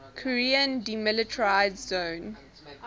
korean demilitarized zone